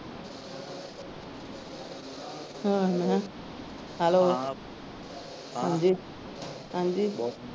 ਹਮ hello ਹਾਂ ਹਾਂ ਹਾਂਜੀ .